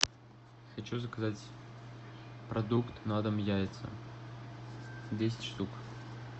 хочу заказать продукт на дом яйца десять штук